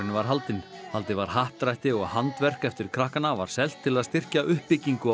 var haldinn haldið var happdrætti og handverk eftir krakkana selt til að styrkja uppbyggingu á